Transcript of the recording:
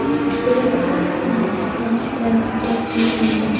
Deyarli har qadamda it va mushuklarni uchratishingiz mumkin.